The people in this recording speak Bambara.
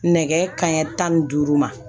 Nɛgɛ kanɲɛ tan ni duuru ma